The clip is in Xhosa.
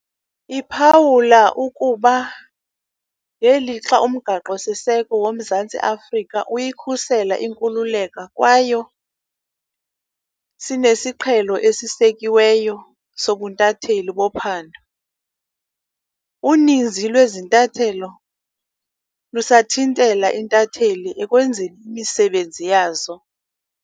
Iphawula ukuba ngelixa uMgaqo-siseko woMzantsi Afrika uyikhusela inkululeko kwayo sinesiqhelo esisekiweyo sobuntatheli bophando, uninzi lwezintathelo lusathintela iintatheli ekwenzeni imisebenzi yazo.